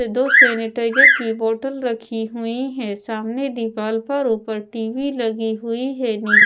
दो सैनिटाइजर की बोतल रखी हुई है सामने दीवाल पर ऊपर टी_वी लगी हुई है नी--